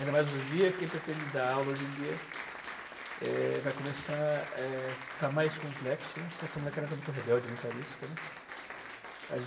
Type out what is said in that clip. Ainda mais hoje em dia, quem pretende dar aula hoje em dia é vai começar é a estar mais complexo, porque essa molecada está muito rebelde, muito arisca, né. As